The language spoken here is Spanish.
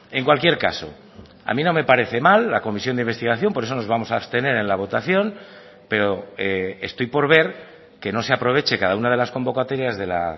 en cualquier caso a mí no me parece mal la comisión de investigación por eso nos vamos a abstener en la votación pero estoy por ver que no se aproveche cada una de las convocatorias de la